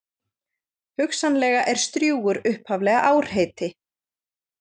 Hugsanlega er Strjúgur upphaflega árheiti.